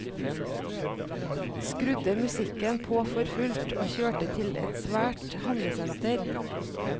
Skrudde musikken på for fullt, og kjørte til et svært handlesenter.